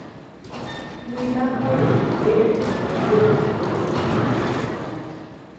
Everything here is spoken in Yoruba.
mi bá béèrè ìbéèrè tí mo lérò pé ó jẹ́ mi lógún gan-an